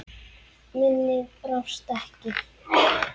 Minnið brást ekki.